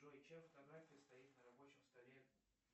джой чья фотография стоит на рабочем столе